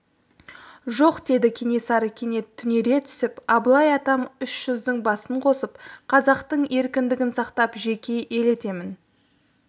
жоқ деді кенесары кенет түнере түсіп абылай атам үш жүздің басын қосып қазақтың еркіндігін сақтап жеке ел етемін